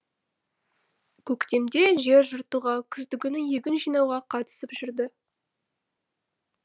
көктемде жер жыртуға күздігүні егін жинауға қатысып жүрді